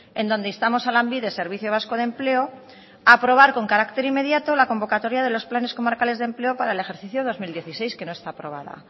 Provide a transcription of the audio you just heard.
en donde instamos a lanbide servicio vasco de empleo a aprobar con carácter inmediato la convocatoria de los planes comarcales de empleo para el ejercicio dos mil dieciséis que no está aprobada